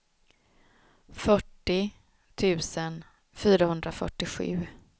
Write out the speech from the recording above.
fyrtio tusen fyrahundrafyrtiosju